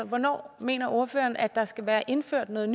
hvornår mener ordføreren der skal være indført noget